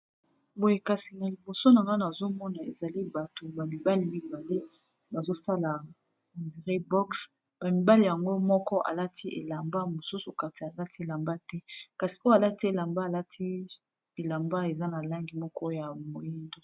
Boye kasi na liboso nanga nazomona ezali bato ba mibali mibale bazosala ondiré box ba mibale yango moko alati elamba mosusu okanisa alati elamba te kasi oyo alati elamba alati elamba eza na langi moko ya moyindo.